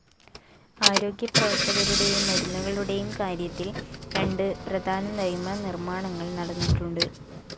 ആരോഗ്യപ്രവർത്തകരുടെയും മരുന്നുകളുടെയും കാര്യത്തിൽ രണ്ട് പ്രധാന നിയമനിർമ്മാണങ്ങൾ നടന്നിട്ടുണ്ട്.